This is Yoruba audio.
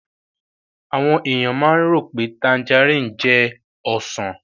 Àwọn èèyàn máa ń rò pé tanjarìn jẹ́ Ọsàn